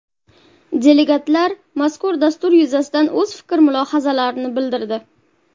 Delegatlar mazkur dastur yuzasidan o‘z fikr-mulohazalarini bildirdi.